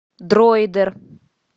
дроидер